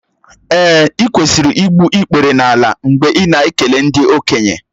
Èè, ị kwesịrị igbu ikpere n’ala mgbe ị na-ekele ndị okenye